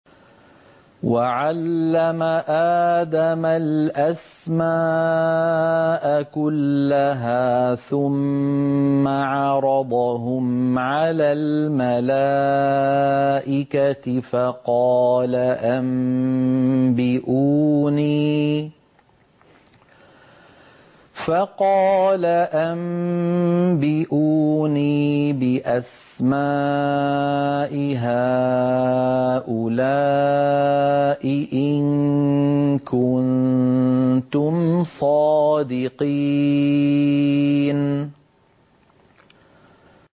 وَعَلَّمَ آدَمَ الْأَسْمَاءَ كُلَّهَا ثُمَّ عَرَضَهُمْ عَلَى الْمَلَائِكَةِ فَقَالَ أَنبِئُونِي بِأَسْمَاءِ هَٰؤُلَاءِ إِن كُنتُمْ صَادِقِينَ